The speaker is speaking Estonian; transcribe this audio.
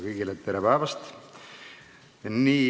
Kõigile tere päevast!